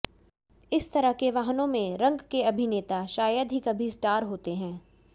इस तरह के वाहनों में रंग के अभिनेता शायद ही कभी स्टार होते हैं